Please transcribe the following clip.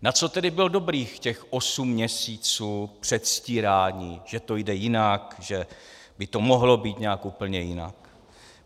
Na co tedy bylo dobrých těch osm měsíců předstírání, že to jde jinak, že by to mohlo být nějak úplně jinak?